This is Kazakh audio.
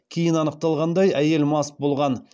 кейін анықталғандай әйел мас болған